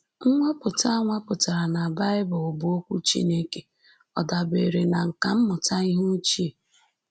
Nnwapụta a nwapụtara na Bible, bụ́ Okwu Chineke, ọ̀ dabeere na nkà mmụta ihe ochie?